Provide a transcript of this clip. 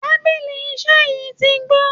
Tabili iṣẹ́ yín ti gbó